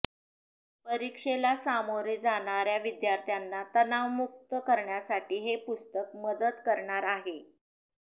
परीक्षेला सामोरे जाणाऱ्या विद्यार्थ्यांना तणावमुक्त करण्यासाठी हे पुस्तक मदत करणार आहे